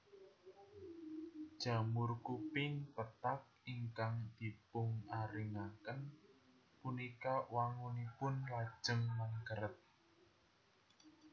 Jamur kuping pethak ingkang dipungaringaken punika wangunipun lajeng mengkeret